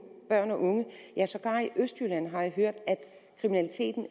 østjylland har jeg hørt at kriminaliteten